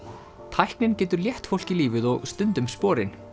tæknin getur létt fólki lífið og stundum sporin